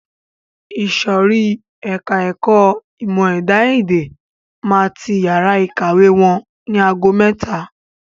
Ìsòrí ẹka ẹ̀kọ́ ìmọ̀ ẹ̀dá-èdè máa ti yàrá ìkàwé wọn ni ago mẹ́ta.